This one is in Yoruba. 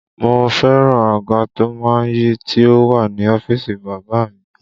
Mo fẹ́ràn àga to má ń yí tí ó wà ní ọ́fíìsì bàbá a mi